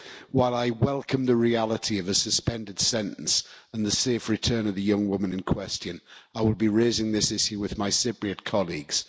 While I welcome the reality of a suspended sentence and the safe return of the young woman in question, I will be raising this issue with my Cypriot colleagues.